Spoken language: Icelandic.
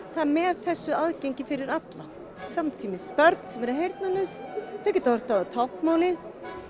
með þessu aðgengi fyrir alla samtímis börn sem eru heyrnarlaus þau geta horft á táknmálið